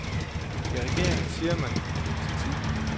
I regeringen siger man, at det vil tage tid.